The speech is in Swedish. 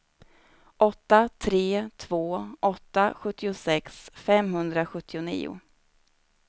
åtta tre två åtta sjuttiosex femhundrasjuttionio